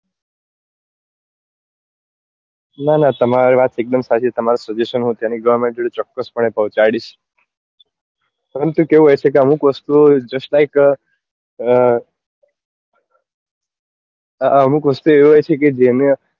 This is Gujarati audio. ના ના તમારી વાત એક દમ સાચી તમારું suggestion ત્યાં ની government જોડે ચોક્કસપણે પહોચાડીસ પરંતુ કેવું હોય છે કે અમુક વસ્તુ ઓ just like અ અમુક વસ્તુ એવી હોય છે કે